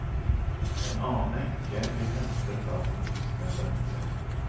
En annen enke blir hentet av den voksne sønnen sin.